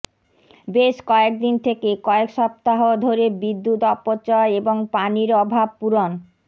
বেশ কয়েক দিন থেকে কয়েক সপ্তাহ ধরে বিদ্যুৎ অপচয় এবং পানির অভাব পূরণ